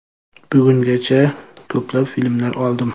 Bugungacha ko‘plab filmlar oldim.